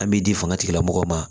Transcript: An m'i di fanga tigilamɔgɔw ma